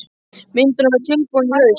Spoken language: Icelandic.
Myndin á að vera tilbúin í haust.